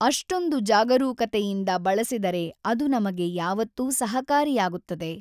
ಅಷ್ಱೊಂದು ಜಾಗರೂಕತೆಯಿಂದ ಬಳಸಿದರೆ ಅದು ನಮಗೆ ಯಾವತ್ತೂ ಸಹಕಾರಿಯಾಗುತ್ತದೆ.